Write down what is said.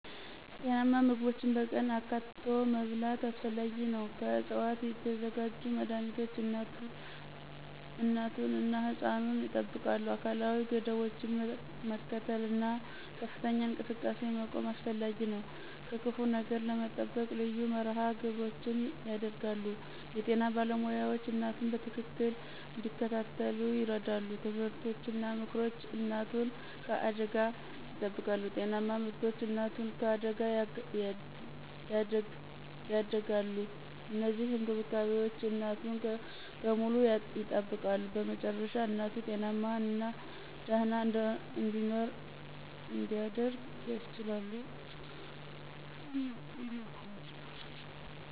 ጤናማ ምግቦችን በቀን አካትቶ መብላት አስፈላጊ ነው። ከዕፅዋት የተዘጋጁ መድኃኒቶች እናቱን እና ሕፃኑን ያጠብቃሉ። አካላዊ ገደቦችን መከተል እና ከፍተኛ እንቅስቃሴ መቆም አስፈላጊ ነው። ከክፉ ነገር ለመጠበቅ ልዩ መርሃ ግብሮች ይደረጋሉ። የጤና ባለሞያዎች እናቱን በትክክል እንዲከታተሉ ይረዱ። ትምህርቶች እና ምክሮች እናቱን ከአደጋ ይጠብቃሉ። ጤናማ ምርቶች እናቱን ከአደጋ ያደጋሉ። እነዚህ እንክብካቤዎች እናቱን በሙሉ ያጠብቃሉ። በመጨረሻ እናቱ ጤናማና ደህና እንዲኖር እንዲደረግ ያስችላሉ።